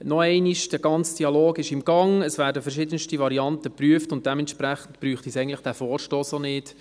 Noch einmal: Der ganze Dialog ist im Gang, es werden verschiedenste Varianten geprüft, und dementsprechend braucht es diesen Vorstoss auch nicht.